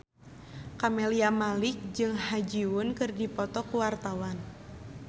Camelia Malik jeung Ha Ji Won keur dipoto ku wartawan